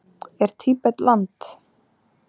Er Tíbet land?